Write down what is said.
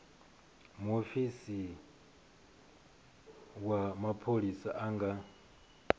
muofisi wa mapholisa a nga